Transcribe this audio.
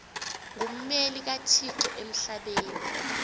ngummeli kathixo emhlabeni